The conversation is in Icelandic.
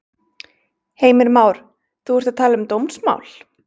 Heimir Már: Þú ert að tala um dómsmál?